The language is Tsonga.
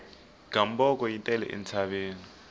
gamboko yi tele entshaveni